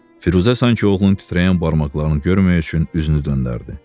Firuzə sanki oğlunun titrəyən barmaqlarını görməmək üçün üzünü döndərdi.